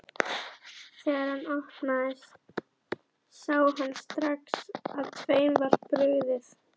Þegar hann opnaði sá hann strax að þeim var brugðið.